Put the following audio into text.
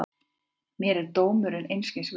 Mér er dómurinn einskis virði.